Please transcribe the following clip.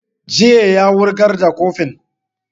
Jiye ya wurgar da kurfin